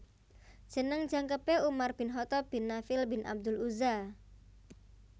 Jeneng jangkepé Umar Bin Khatab Bin Nafiel bin abdul Uzza